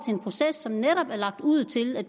en proces som netop er lagt ud til